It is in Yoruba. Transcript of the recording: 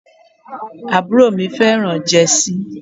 Àbúrò mi fẹ́ràn jẹ́sí.